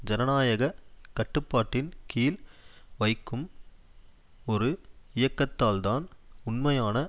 ஜனநாயக கட்டுப்பாட்டின் கீழ் வைக்கும் ஒரு இயக்கத்தால்தான் உண்மையான